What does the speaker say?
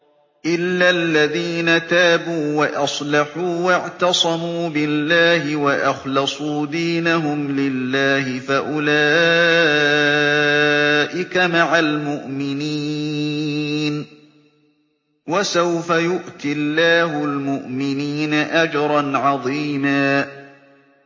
إِلَّا الَّذِينَ تَابُوا وَأَصْلَحُوا وَاعْتَصَمُوا بِاللَّهِ وَأَخْلَصُوا دِينَهُمْ لِلَّهِ فَأُولَٰئِكَ مَعَ الْمُؤْمِنِينَ ۖ وَسَوْفَ يُؤْتِ اللَّهُ الْمُؤْمِنِينَ أَجْرًا عَظِيمًا